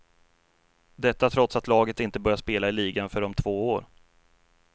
Detta trots att laget inte börjar spela i ligan förrän om två år.